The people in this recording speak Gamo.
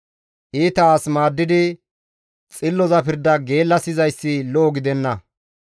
Iita as maaddidi, xilloza pirda geellasizayssi lo7o gidenna.